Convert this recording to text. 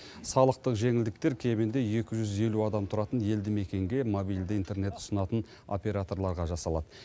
салықтық жеңілдіктер кемінде екі жүз елу адам тұратын елді мекенге мобильді интернет ұсынатын операторларға жасалады